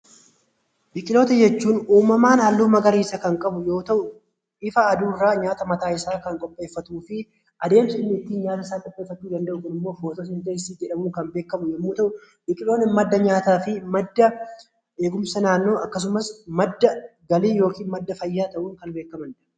Biqiloota jechuun uummamaan halluu magariisaa kan qabu yoo ta'u nyaata isaa ifa aduurraa kan qopheefatuu fi adeemsi nyaata isaa qopheefatu Kun immoo fotoosentessisii jedhama. Biqiloonni madda nyaata, madda galii fi eegumsa naannoo ta'uun kan beekkamanidha.